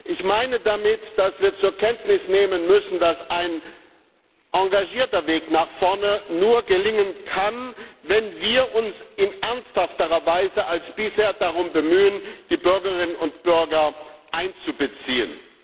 Ich meine damit, dass wir zur Kenntnis nehmen müssen, dass ein engagierter Weg nach vorne nur gelingen kann, wenn wir uns in ernsthafterer Weise als bisher darum bemühen, die Bürgerinnen und Bürger einzubeziehen.